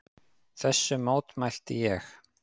Þessu mótmælti ég.